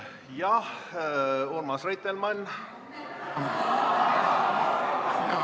Jah, Urmas Reitelmann!